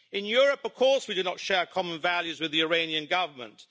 In Europe, of course we do not share common values with the Iranian Government.